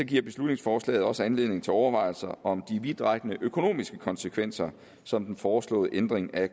giver beslutningsforslaget også anledning til overvejelser om de vidtrækkende økonomiske konsekvenser som den foreslåede ændring af